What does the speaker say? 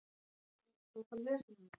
KRISTJÁN: Ekki andartak?